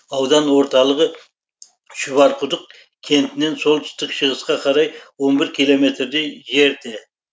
аудан орталығы шұбарқұдық кентінен солтүстік шығысқа қарай он бір километрдей жерде